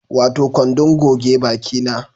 Wato kwandon goge baki na